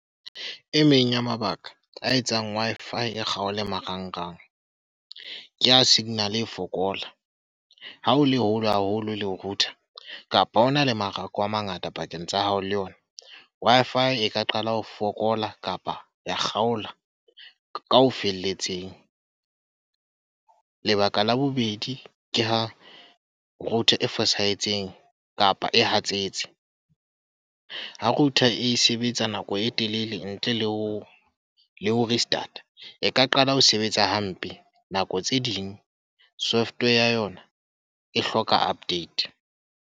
E meng ya mabaka a etsang Wi-Fi e kgaole marangrang. Ke ha signal e fokola. Ha o le hole haholo le router, kapa hona le marako a mangata pakeng tsa hao le yona. Wi-Fi e ka qala ho fokola kapa ya kgaola ka ho felletseng. Lebaka la bobedi, ke ha router e fosahetseng kapa e hatsetsa. Ha router e sebetsa nako e telele ntle le ho le ho restart. E ka qala ho sebetsa hampe nako tse ding. Software ya yona e hloka update.